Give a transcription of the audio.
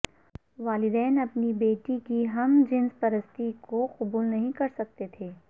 والدین اپنی بیٹی کی ہم جنس پرستی کو قبول نہیں کرسکتے تھے